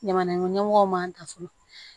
Jamana ɲɛmɔgɔ ɲɛmɔgɔw m'an da so